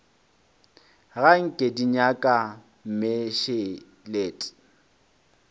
ga nke di nyaka mmešelet